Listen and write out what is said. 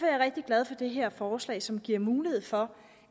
jeg rigtig glad for det her forslag som giver mulighed for